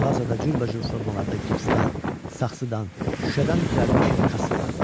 Mağazada cürbəcür formalarda gipsdən, saxsıdan, şüşədən düzəlmiş kassalar vardı.